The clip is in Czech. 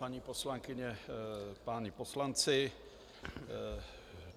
Paní poslankyně, páni poslanci,